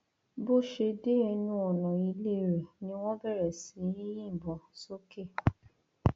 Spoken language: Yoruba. bó ṣe dé ẹnu ọnà ilé rẹ ni wọn bẹrẹ sí í yìnbọn sókè